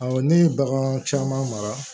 Awɔ ne ye bagan caman mara